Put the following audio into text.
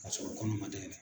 Paseke o kɔni ma d'e la